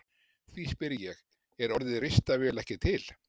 Því spyr ég: Er orðið ristavél ekki til?